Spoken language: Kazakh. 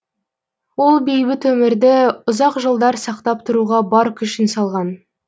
ол бейбіт өмірді ұзақ жылдар сақтап тұруға бар күшін салған